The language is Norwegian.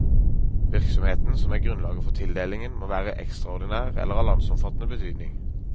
Virksomheten, som er grunnlaget for tildelingen, må være ekstraordinær eller av landsomfattende betydning.